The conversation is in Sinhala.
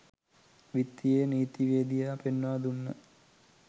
විත්තියේ නීතිවේදියා පෙන්වා දුන්න